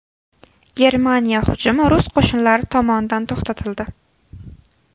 Germaniya hujumi rus qo‘shinlari tomonidan to‘xtatildi.